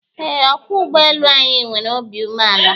Eé, ọkwọ ụgbọelu anyị nwere obi umeala